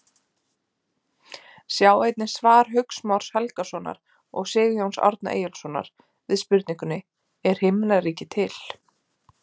Sjá einnig svar Hauks Más Helgasonar og Sigurjóns Árna Eyjólfssonar við spurningunni: Er himnaríki til?